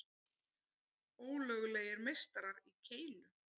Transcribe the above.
Ólöglegir meistarar í keilu